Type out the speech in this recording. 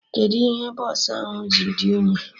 Kedụ ihe bọsụ ahụ ji dị unyi?